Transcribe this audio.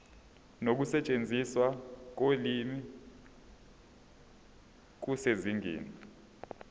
nokusetshenziswa kolimi kusezingeni